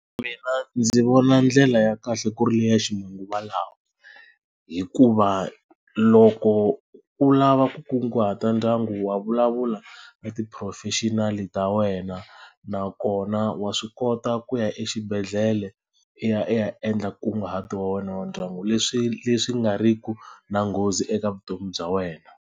Mina ndzi vona ndlela ya kahle ku ri leya ximanguva lawa hikuva loko u lava ku kunguhata ndyangu wa vulavula ka t-professional ta wena nakona wa swi kota ku ya exibedhlele i ya i ya endla nkunguhato wa wena wa ndyangu leswi leswi nga riki na nghozi eka vutomi bya wena.